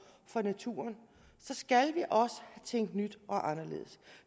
for naturen skal vi også tænke nyt og anderledes